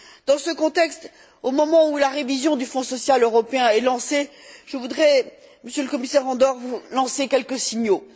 Dans ce contexte, au moment où la révision du Fonds social européen est lancée, je voudrais, Monsieur le Commissaire Andor, vous lancer quelques signaux.